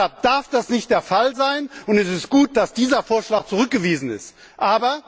Deshalb darf das nicht der Fall sein, und es ist gut, dass dieser Vorschlag zurückgewiesen wurde.